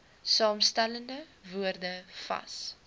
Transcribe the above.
saamgestelde woorde vas